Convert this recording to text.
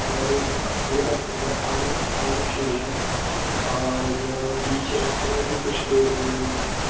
और एक खजूर का पेड़ पाल्म पाल्म ट्री है और बिच रस्ते में भी कुछ पेड़ उगे हुए है।